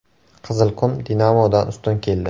“Qizilqum” “Dinamo”dan ustun keldi.